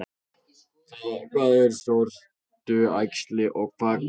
Hvað er sortuæxli og hvað gerir það?